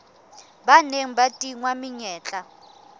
ba neng ba tingwa menyetla